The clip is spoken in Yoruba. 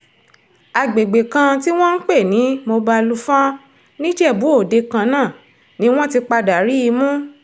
àgbègbè kan tí wọ́n ń pè ní mobalufọ́n nìjẹ̀bù òde kan náà ni wọ́n ti padà rí i mú